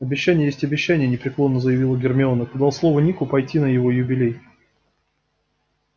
обещание есть обещание непреклонно заявила гермиона ты дал слово нику пойти на его юбилей